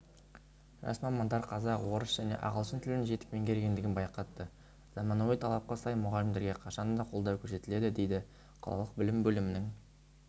жас мамандар қазақ орыс және ағылшын тілін жетік меңгергендігін байқатты заманауи талапқа сай мұғалімдерге қашанда қолдау көрсетіледі дейді қалалық білім бөлімінің